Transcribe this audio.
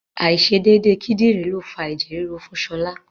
Àìṣedédé kídìrí ló fa ẹ̀jẹ̀ ríru fún Ṣọlá.